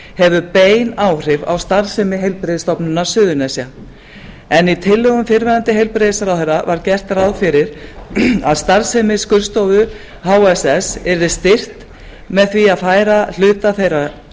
hefur bein áhrif á starfsemi heilbrigðisstofnunar suðurnesja en í tillögum fyrrverandi heilbrigðisráðherra var gert ráð fyrir að starfsemi skurðstofu hss yrði styrkt með því að færa hluta þeirra